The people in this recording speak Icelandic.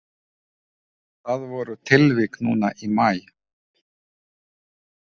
Það voru tilvik núna í maí.